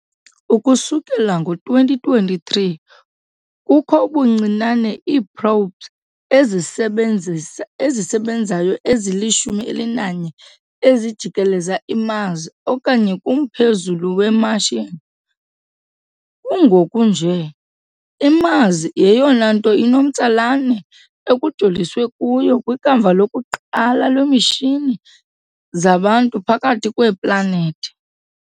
Ukusukela ngo-2023, kukho ubuncinane iiprobes ezisebenzisa ezisebenzayo ezili-11 ezijikeleza iMars okanye kumphezulu weMartian. Kungoku nje, iMars yeyona nto inomtsalane ekujoliswe kuyo kwikamva lokuqala leemishini zabantu phakathi kweeplanethi .